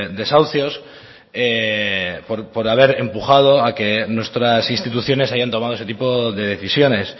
desahucios por haber empujado a que nuestras instituciones hayan tomado ese tipo de decisiones